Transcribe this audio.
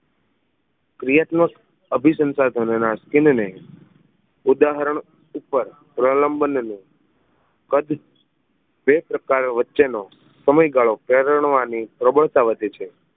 ક્રિયાત્મક અભિસંસાધનો ના સથીન ને ઉદાહરણ ઉપર પ્રલંબન ને કદ એ પ્રકાર વચ્ચે નો સમયગાળો પરણવાની પ્રબળતા વધે છે